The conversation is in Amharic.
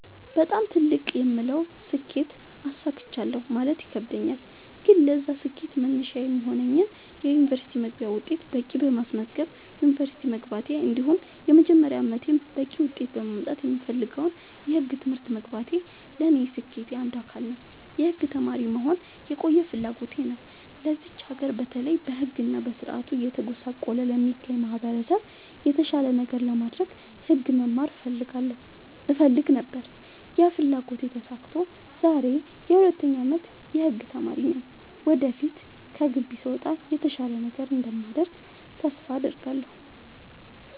በጣም ትልቅ የምለውን ስኬት አሳክቻለሁ ማለት ይከብደኛል። ግን ለዛ ስኬት መነሻ የሚሆነኝን የ ዩኒቨርስቲ መግቢያ ውጤት በቂ በማስመዝገብ ዩንቨርስቲ መግባቴ እንዲሁም የመጀመሪያ አመቴን በቂ ውጤት በማምጣት የምፈልገውን የህግ ትምህርት መግባቴ ለኔ የስኬቴ አንዱ አካል ነው። የህግ ተማሪ መሆን የቆየ ፍላጎቴ ነው ለዚች ሀገር በተለይ በህግ እና በስርዓቱ እየተጎሳቆለ ለሚገኘው ማህበረሰብ የተሻለ ነገር ለማድረግ ህግ መማር እፈልግ ነበር ያ ፍላጎቴ ተሳክቶ ዛሬ የ 2ኛ አመት የህግ ተማሪ ነኝ ወደፊት ከግቢ ስወጣ የተሻለ ነገር እንደማደርግ ተስፋ አድርጋለሁ።